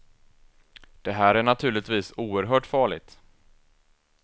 Det här är naturligtvis oerhört farligt.